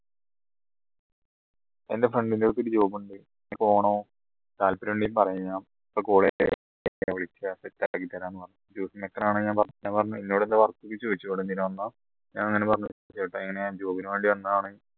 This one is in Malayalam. എൻറെ friend നെ അടുത്തൊരു job ഉണ്ട് താല്പര്യണ്ടെങ്കിൽ പറയാം set ആക്കിത്തരാന്ന് പറഞ്ഞു ഇന്നൊട് എന്താ work എന്ന് ചോയ്ച്ചു ഇവിടെ എന്തിന് വന്നത ഞാൻ ഇങ്ങനെ പറഞ്ഞു ചേട്ടാ ഞാൻ ഇങ്ങനെ job ന് വേണ്ടി വന്നതാണ്